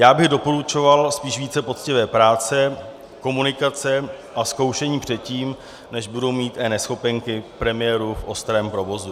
Já bych doporučoval spíš více poctivé práce, komunikace a zkoušení předtím, než budou mít eNeschopenky premiéru v ostrém provozu.